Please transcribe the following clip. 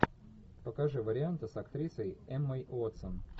покажи варианты с актрисой эммой уотсон